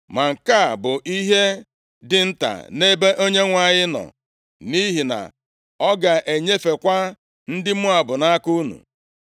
Ma nke a bụ ihe dị nta nʼebe Onyenwe anyị nọ, nʼihi na ọ ga-enyefekwa ndị Moab nʼaka unu.